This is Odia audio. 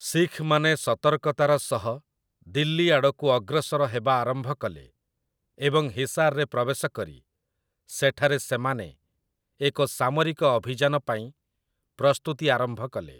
ଶିଖ୍‌ମାନେ ସତର୍କତାର ସହ ଦିଲ୍ଲୀ ଆଡ଼କୁ ଅଗ୍ରସର ହେବା ଆରମ୍ଭ କଲେ ଏବଂ ହିସାର୍‌ରେ ପ୍ରବେଶ କରି ସେଠାରେ ସେମାନେ ଏକ ସାମରିକ ଅଭିଯାନ ପାଇଁ ପ୍ରସ୍ତୁତି ଆରମ୍ଭ କଲେ ।